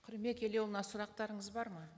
қырымбек елеуұлына сұрақтарыңыз бар ма